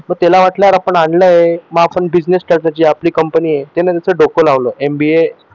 मग त्याला वाटलं कि आपण आणली मग आपली business strategy company आहे त्यानं त्याच डोकं लावलं MBA